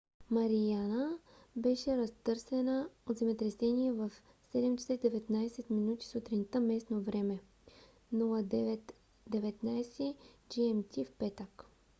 мариана беше разтърсена от земетресение в 07:19 сутринта местно време 09:19 gmt в петък